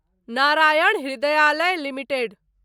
Narayan Hrudayalaya limited